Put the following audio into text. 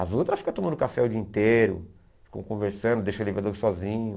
As outras ficam tomando café o dia inteiro, ficam conversando, deixam o elevador sozinho.